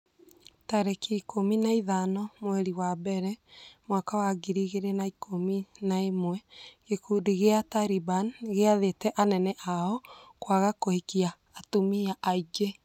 tarĩki ikũmi na ithano mweri wa mbere mwaka wa ngiri igĩrĩ na ikũmi na ĩmwe gĩkundi gĩa Taliban nĩgĩathĩte anene ao kwaga kũhikia atumia aingĩ.